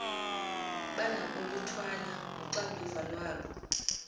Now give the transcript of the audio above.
banokuluthwala uxanduva lwabo